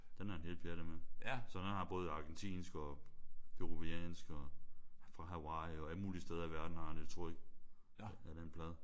Den er han helt pjattet med. Så han har både argentinske og peruvianske og fra Hawaii og alle mulige steder i verden har han et tryk af den plade